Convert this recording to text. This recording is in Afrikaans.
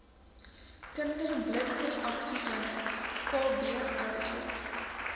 kinderblitsreaksie eenheid kbre